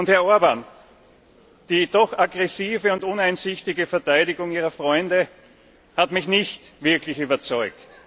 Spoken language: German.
Herr Orbán, die doch aggressive und uneinsichtige Verteidigung Ihrer Freunde hat mich nicht wirklich überzeugt.